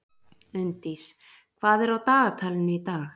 Unndís, hvað er á dagatalinu í dag?